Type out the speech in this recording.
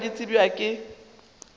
ka moka di tsebja ke